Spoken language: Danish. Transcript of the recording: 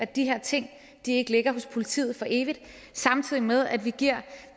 de her ting ikke ligger hos politiet for evigt samtidig med at vi giver